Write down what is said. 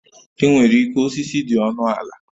E nwerike osisi dị ọnụ ala